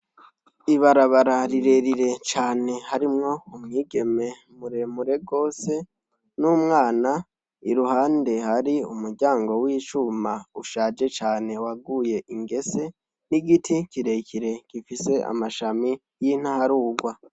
Ibarabara rirerire cane harimwo umwige muremure gose n'umwana iruhande hari umuryango w'icuma ushaje cane waguye ingese n'igiti kirekire gifise amashami y'intaharugwa.